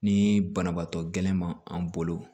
Ni banabaatɔ gɛlɛn ma an bolo